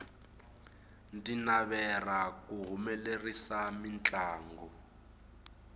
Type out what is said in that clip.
ndzi navera ku humelerisa mintlangu